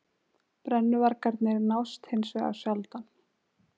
Brennuvargarnir nást hins vegar sjaldan